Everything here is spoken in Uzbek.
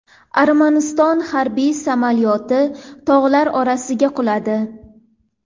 Armaniston harbiy samolyoti tog‘lar orasiga quladi.